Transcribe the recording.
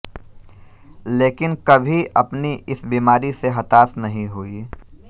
लेकिन कभी अपनी इस बीमारी से हतास नहीं हुयी